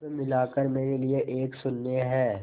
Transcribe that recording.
सब मिलाकर मेरे लिए एक शून्य है